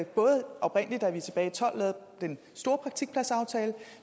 både oprindelig da vi tilbage og tolv lavede den store praktikpladsaftale og